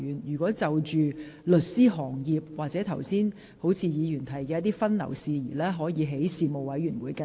有關律師行業或剛才有議員提到的律師分流事宜，可在相關事務委員會跟進。